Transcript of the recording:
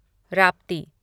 Rapti